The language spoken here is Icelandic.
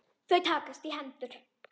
Þau takast í hendur.